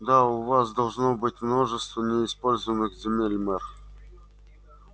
да у вас должно быть множество неиспользованных земель мэр